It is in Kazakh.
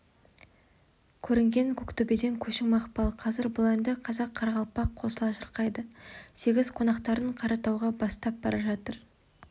көрінген көктөбеден көшің мақпал қазір бұл әнді қазақ-қарақалпақ қосыла шырқайды сегіз қонақтарын қаратауға бастап бара жатыр